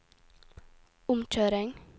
omkjøring